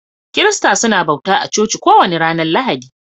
Kirista suna bauta a coci kowani ranan Lahadi.